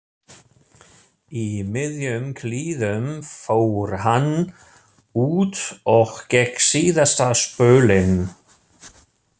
Í miðjum klíðum fór hann út og gekk síðasta spölinn.